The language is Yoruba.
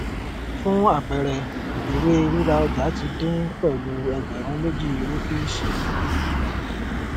fún àpẹẹrẹ iìwé ríra ọjà ti dín pẹlú ẹgbẹrún méjì rúpíìsì